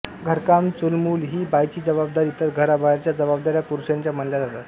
घरकाम चूलमूल ही बाईची जबाबदारी तर घराबाहेरच्या जबाबदाऱ्या पुरुषाच्या मानल्या जातात